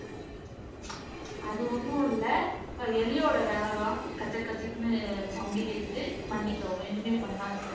அது ஒண்ணும் இல்லை எலியோட வேலைதான் கஜக்கஜக்ன்னு sound கேக்குது மன்னிக்கவும் இனிமேல் பண்ணாது